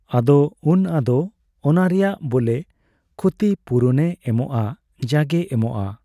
ᱟᱫᱚ ᱩᱱ ᱟᱫᱚ ᱚᱱᱟ ᱨᱮᱭᱟᱜ ᱵᱚᱞᱮ ᱠᱷᱚᱛᱤ ᱯᱩᱨᱚᱱᱮ ᱮᱢᱚᱜᱼᱟ ᱡᱟᱜᱮ ᱮᱢᱚᱜᱼᱟ ᱾